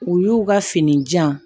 U y'u ka fini jan